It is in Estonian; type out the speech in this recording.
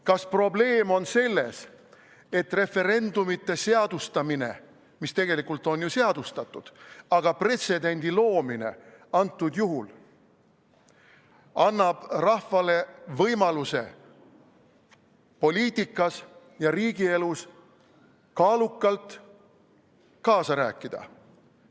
Kas probleem on selles, et referendumite seadustamine, mis tegelikult on ju seadustatud, antud juhul siis pretsedendi loomine annab rahvale võimaluse poliitikas ja riigielus kaalukalt kaasa rääkida?